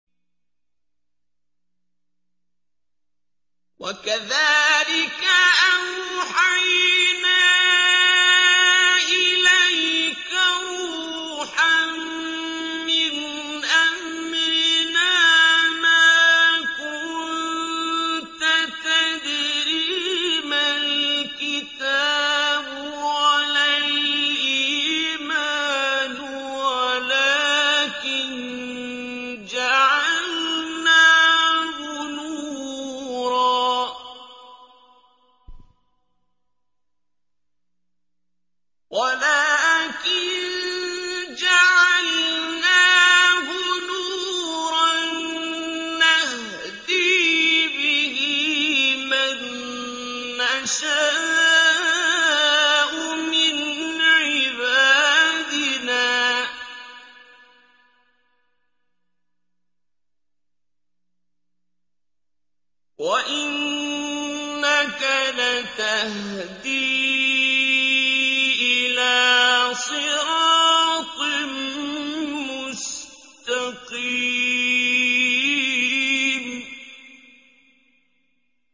وَكَذَٰلِكَ أَوْحَيْنَا إِلَيْكَ رُوحًا مِّنْ أَمْرِنَا ۚ مَا كُنتَ تَدْرِي مَا الْكِتَابُ وَلَا الْإِيمَانُ وَلَٰكِن جَعَلْنَاهُ نُورًا نَّهْدِي بِهِ مَن نَّشَاءُ مِنْ عِبَادِنَا ۚ وَإِنَّكَ لَتَهْدِي إِلَىٰ صِرَاطٍ مُّسْتَقِيمٍ